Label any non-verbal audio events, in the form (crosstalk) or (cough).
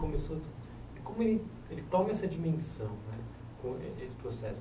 (unintelligible) Como ele ele toma essa dimensão né, (unintelligible) esse processo?